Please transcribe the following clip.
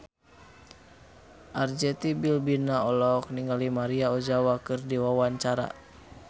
Arzetti Bilbina olohok ningali Maria Ozawa keur diwawancara